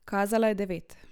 Kazala je devet.